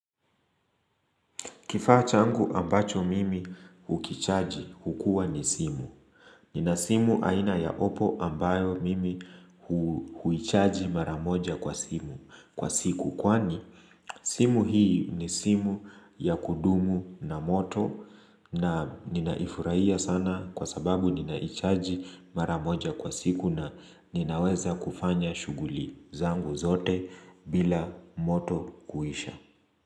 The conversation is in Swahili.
Kifaa changu ambacho mimi hukichaji hukua ni simu. Nina simu aina ya opo ambayo mimi huichaji mara moja kwa simu kwa siku. Kwani simu hii ni simu ya kudumu na moto na ninaifurahia sana kwa sababu ninaichaji maramoja kwa siku na ninaweza kufanya shuguli zangu zote bila moto kuisha.